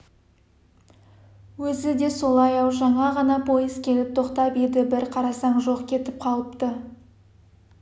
өзі де солай-ау жаңа ғана пойыз келіп тоқтап еді бір қарасаң жоқ кетіп қалыпты